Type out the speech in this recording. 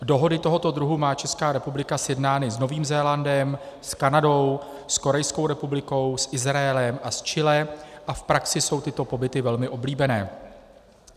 Dohody tohoto druhu má Česká republika sjednány s Novým Zélandem, s Kanadou, s Korejskou republikou, s Izraelem a s Chile a v praxi jsou tyto pobyty velmi oblíbené.